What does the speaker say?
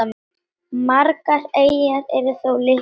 Margar eyjanna eru þó litlar.